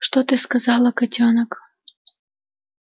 что ты сказала котёнок